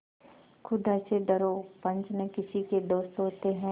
खुदा से डरो पंच न किसी के दोस्त होते हैं